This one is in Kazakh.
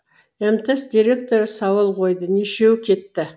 мтс директоры сауал қойды нешеуі кетті